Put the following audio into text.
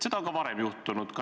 Seda on ka varem juhtunud.